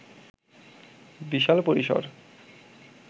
বিশাল পরিসর